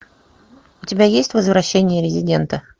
у тебя есть возвращение резидента